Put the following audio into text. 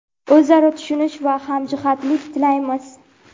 o‘zaro tushunish va hamjihatlik tilaymiz.